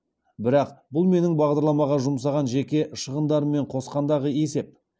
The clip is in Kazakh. бірақ бұл менің бағдарламаға жұмсаған жеке шығындарыммен қосқандағы есеп